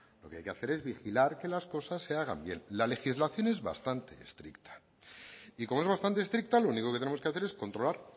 lo que hay hacer es vigilar que las cosas se hagan bien la legislación es bastante estricta y como es bastante estricta lo único que tenemos que hacer es controlar